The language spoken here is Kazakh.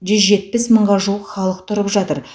жүз жетпіс мыңға жуық халық тұрып жатыр